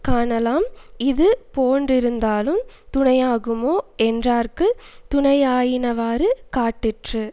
காணலாம் இது பொன்றினாலுந் துணையாகுமோ என்றார்க்குத் துணையாயினவாறு காட்டிற்று